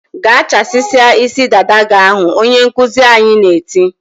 "Gaa chasisia isi dada gị ahụ!" Onye nkuzi anyị na-eti.